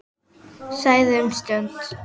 Þagði um stund.